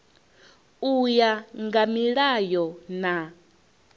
u ya nga milayo na